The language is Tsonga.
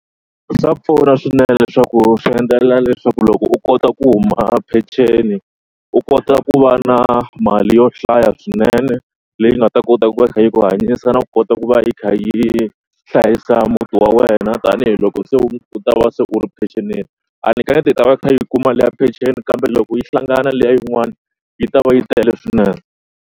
Swa pfuna swinene leswaku swi endlela leswaku loko u kota ku huma peceni u kota ku va na mali yo hlaya swinene leyi nga ta kota ku va kha yi ku hanyisa na ku kota ku va yi kha yi hlayisa muti wa wena tanihiloko se u ta va se u ri mpecenini. A ndzi kaneti i ta va i kha i yi kuma liya peceni kambe loko yi hlangana na liya yin'wani yi ta va yi tele swinene.